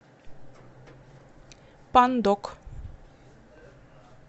пандок